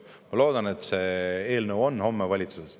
Ma loodan, et see eelnõu on homme valitsuses.